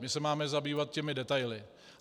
My se máme zabývat těmi detaily.